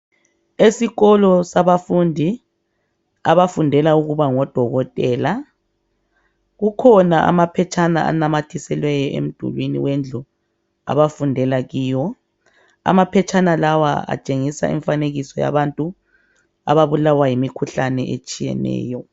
Esikolo sabafundi abafundela ukuba ngodokotela, kukhona amaphetshana anamathiselweyo emdulini wendlu abafundela kiyo. Amaphetshana lawa atshengisa imifanekiso yabantu ababulawa yimikhuhlane etshiyeneyo.